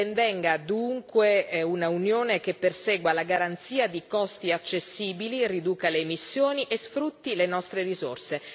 Ben venga dunque un'unione che persegua la garanzia di costi accessibili, riduca le emissioni e sfrutti le nostre risorse.